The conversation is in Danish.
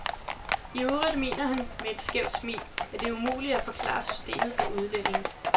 I øvrigt mener han, med et skævt smil, at det er umuligt at forklare systemet for udlændinge.